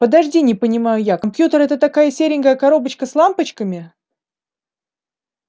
подожди не понимаю я компьютер это такая серенькая коробочка с лампочками